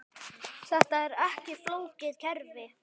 Þetta er ekki flókið kerfi.